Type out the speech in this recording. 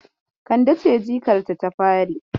Kande ce ƴarta ta fari.